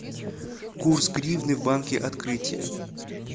курс гривны в банке открытие